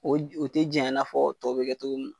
UO o tɛ janya na fɔ tɔ bɛ kɛ cogo min na.